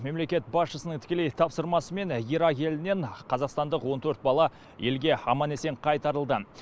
мемлекет басшысының тікелей тапсырмасымен ирак елінен қазақстандық он төрт бала елге аман есен қайтарылды